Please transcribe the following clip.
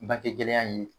Bangegɛlɛya in ye